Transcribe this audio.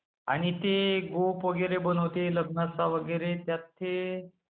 आणि ते गोफ वगैरे बनवते लग्नाचा वगैरे त्यात हे...